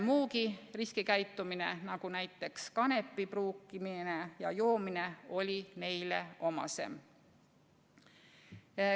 Muugi riskikäitumine, näiteks kanepi pruukimine ja joomine, oli neile omasem.